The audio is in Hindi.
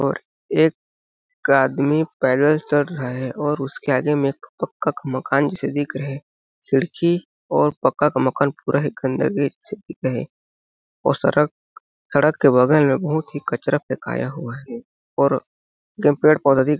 और एक आदमी पैदल चल रहे है और उसके आगे मे एक पक्का का मकान जैसे दिख रहे है खिड़की और पक्का का मकान पूरा है और सड़क सड़क के बगल मे बहुत ही कचरा फेंकाया हुआ है और पेड़-पौधा दिख--